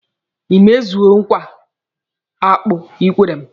Ị mezuole nkwa akpụ ị kwere m?